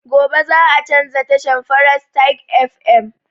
Gobe za a canza tashan frestige fm